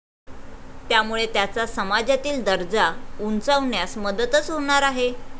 त्यामुळे त्याचा समाजातील दर्जा उंचावण्यास मदतच होणार आहे.